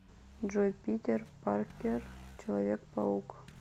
джой питер паркер человек паук